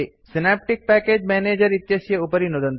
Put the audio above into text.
synaptic package manager इत्यस्य उपरि नुदन्तु